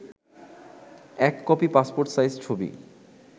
১ copy passport size ছবি